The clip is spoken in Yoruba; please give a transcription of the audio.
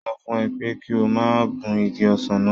Mo sọ fún ẹ pé kí o má gun igi ọsàn náà